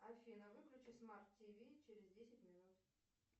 афина выключи смарт тв через десять минут